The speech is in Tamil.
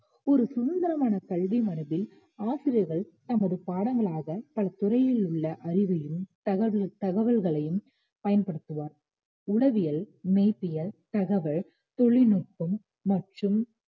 ஒரு சுதந்திரமான கல்வி மரபில் ஆசிரியர்கள் தமது பாடங்களாகப் பல துறை உள்ள அறிவையும் தகவல்களையும் பயன்படுத்துவர் உளவியல் மெய்பியல் தகவல் தொழில்நுட்பம் மற்றும்